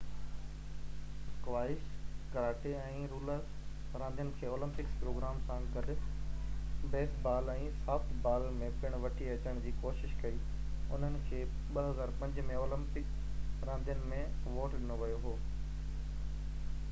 squash karate ۽ roller راندين کي Olympic programme سان گڏ بيس بال ۽ سافٽ بال ۾ پڻ وٺي اچڻ جي ڪوشش ڪئي انهن کي 2005 ۾ اولمپڪ راندين ۾ ووٽ ڏنو ويو هو